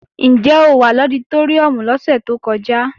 Ǹjẹ́ o wà lọditóríùm lọ́sẹ̀ tó kọjá?